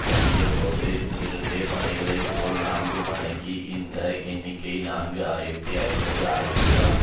தொடங்கியபோது இருந்த படைகளை போல் நான்கு மடங்காகி இந்த எண்ணிக்கை நான்கு ஆயிரத்தி ஐநூறு ஆகிவிடும்